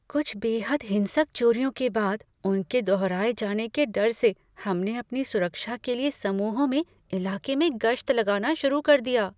कुछ बेहद हिंसक चोरियों के बाद उनके दोहराए जाने के डर से हमने अपनी सुरक्षा के लिए समूहों में इलाके में गश्त लगाना शुरू कर दिया।